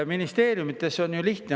Ministeeriumides on ju lihtne.